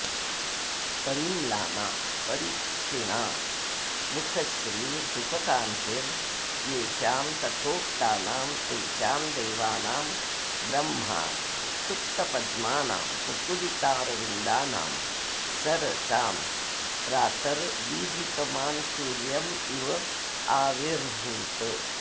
परिम्लाना परिक्षीणा मुखश्रीर्मुखकान्तिर्येषां तथोक्तानां तेषां देवानां ब्रह्मा सुप्तपद्मानां मुकुलितारविन्दानां सरसां प्रातर्दीधितमान्सूर्यं इवाविरभूत्